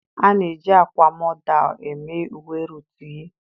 A na-eji akwa modal eme uwe Ruutu yi.